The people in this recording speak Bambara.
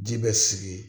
Ji bɛ sigi